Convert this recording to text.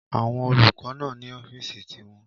Àwọn olùkọ́ náà ní ọ́fìsì ti wọn